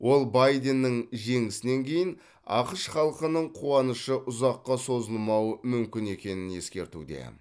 ол байденнің жеңісінен кейін ақш халқының қуанышы ұзаққа созылмауы мүмкін екенін ескертуде